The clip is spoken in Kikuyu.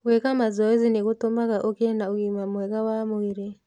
Gwĩka mazoezi nĩ gũtũmaga ũgĩe na ũgima mwega wa mwĩrĩ.